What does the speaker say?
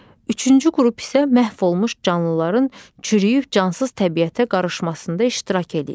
Üçüncü qrup isə məhv olmuş canlıların çürüyüb cansız təbiətə qarışmasında iştirak eləyir.